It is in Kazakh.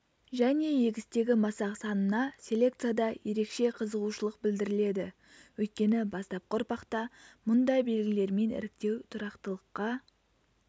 және егістегі масақ санына селекцияда ерекше қызығушылық білдіріледі өйткені бастапқы ұрпақта мұндай белгілермен іріктеу тұрақтылыққа